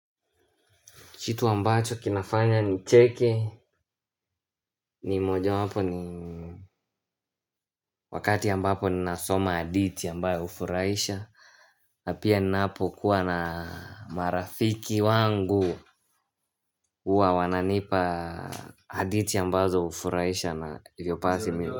Kitu ambacho kinafanya ni cheke ni moja wapo ni wakati ambapo ni nasoma hadithi ambayo hufurahisha. Na pia napo kuwa na marafiki wangu huwa wananipa hadithi ambazo hufurahisha na hivyo basi mi.